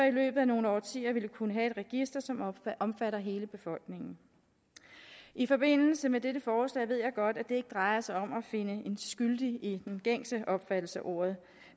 i løbet af nogle årtier ville kunne have et register som omfatter hele befolkningen i forbindelse med dette forslag ved jeg godt at det ikke drejer sig om at finde en skyldig i den gængse opfattelse af ordet